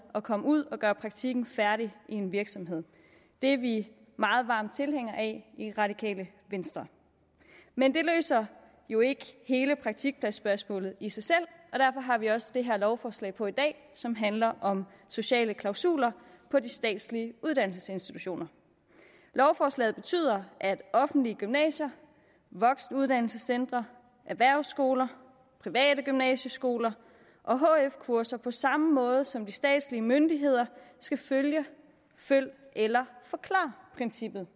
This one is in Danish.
at komme ud at gøre praktikken færdig i en virksomhed det er vi meget varme tilhængere af i radikale venstre men det løser jo ikke hele praktikpladsspørgsmålet i sig selv og derfor har vi også det her lovforslag på i dag som handler om sociale klausuler på de statslige uddannelsesinstitutioner lovforslaget betyder at offentlige gymnasier voksenuddannelsescentre erhvervsskoler private gymnasieskoler og hf kurser på samme måde som de statslige myndigheder skal følge følg eller forklar princippet